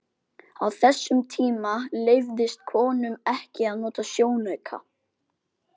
Á þessum tíma leyfðist konum ekki að nota sjónauka.